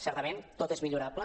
certament tot és millorable